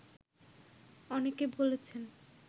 অনেকে বলেছেন